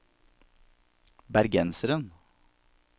bergenseren